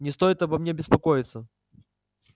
не стоит обо мне беспокоиться